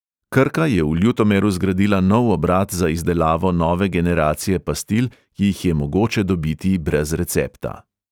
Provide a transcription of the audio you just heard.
Krka je v ljutomeru zgradila nov obrat za izdelavo nove generacije pastil, ki jih je mogoče dobiti brez recepta.